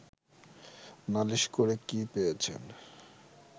নালিশ করে কি পেয়েছেন